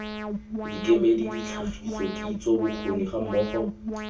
dikemedi ditlhagiso kitso bokgoni gammogo